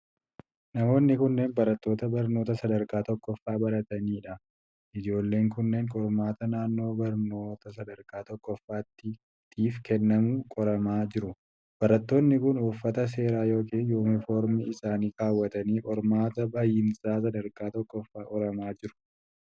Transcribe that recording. Namoonni kunneen barattoota barnoota sadarkaa tokkoffaa baratanii dha. Ijoolleen kunneen qormaata naannoo barnoota sadarkaa tokkoffaatif kennamu qoramaa jiru. Barattoonni kun uffata seeraa yookin yuunifoormii isaanii kaawwatanii qormaata bahiinsa sadarkaa tokkoffaa qoramaa jiru.